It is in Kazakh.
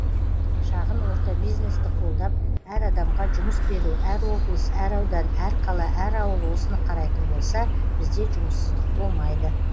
шағын орта бизнесті қолдап әр адамға жұмыс беру әр облыс әр аудан әр қала әр ауыл осыны қарайтын болса бізде жұмыссыздық болмайды